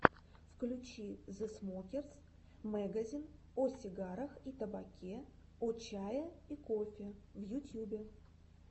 включи зэ смокерс мэгазин о сигарах и табаке о чае и кофе в ютьюбе